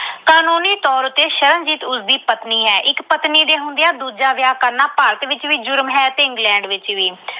ਕਾਨੂੰਨੀ ਤੌਰ ਤੇ ਸ਼ਰਨਜੀਤ ਉਸਦੀ ਪਤਨੀ ਹੈ। ਇੱਕ ਪਤਨੀ ਦੇ ਹੁੰਦਿਆਂ ਦੂਜਾ ਵਿਆਹ ਕਰਨਾ ਭਾਰਤ ਵਿੱਚ ਵੀ ਜੁਰਮ ਹੈ ਤੇ England ਵਿੱਚ ਵੀ।